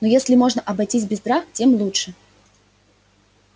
но если можно обойтись без драк тем лучше